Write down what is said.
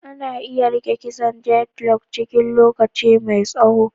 Ana iya rike kitson diredlok cikin lokaci mai tsaho.